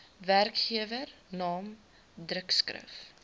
werkgewer naam drukskrif